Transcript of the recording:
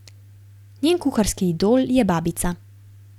Njen kuharski idol je babica.